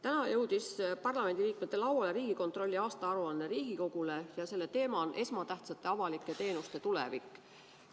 Täna jõudis parlamendiliikmete lauale Riigikontrolli aastaaruanne ja selle teema on esmatähtsate avalike teenuste tulevik.